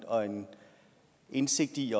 og en indsigt i